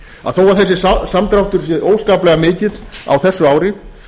að þó að þessi samdráttur sé óskaplega mikill á þessu ári